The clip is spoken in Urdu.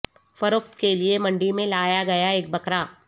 فروخت کے لئے منڈی میں لایا گیا ایک بکرا